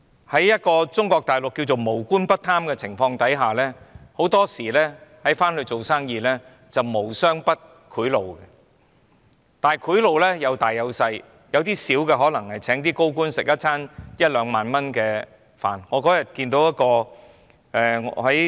所以，在中國大陸稱為"無官不貪"的情況下，很多時到內地做生意是"無商不賄賂"，但賄賂有大也有小，有些小的可能只是用一兩萬元來請高官吃一頓飯。